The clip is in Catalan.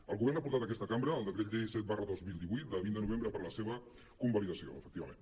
el govern ha portat a aquesta cambra el decret llei set dos mil divuit de vint de novembre per a la seva convalidació efectivament